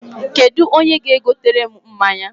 Kedụ onye ga-egotere m mmanya?